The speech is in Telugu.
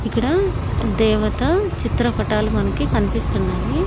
ఇక్కడ దేవత చిత్రపటాలు మనకి కన్పిస్తున్నాయి.